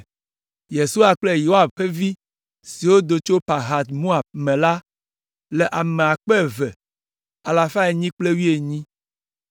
Yesua kple Yoab ƒe vi siwo do tso Pahat Moab me la le ame akpe eve alafa enyi kple wuienyi (2,818).